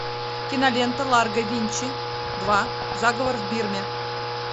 кинолента ларго винчи два заговор в бирме